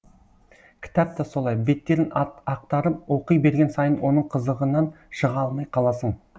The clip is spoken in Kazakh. кітап та солай беттерін ақтарып оқи берген сайын оның қызығынан шыға алмай қаласың